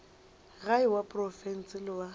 gae wa profense le wa